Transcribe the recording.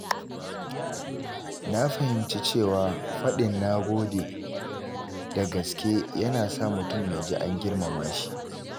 Na fahimci cewa faɗin “na gode” da gaske yana sa mutum ya ji an girmama shi.